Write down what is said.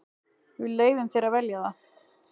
Við leyfum þér að velja það.